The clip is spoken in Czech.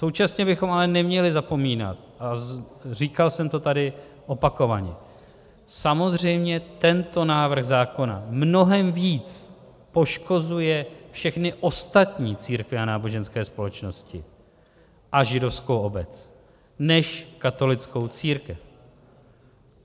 Současně bychom ale neměli zapomínat, a říkal jsem to tady opakovaně, samozřejmě tento návrh zákona mnohem víc poškozuje všechny ostatní církve a náboženské společnosti a židovskou obec než katolickou církev.